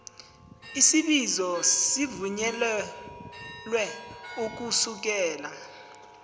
isibizo sivunyelwe ukusukela